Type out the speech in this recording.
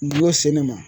Duyan se ne ma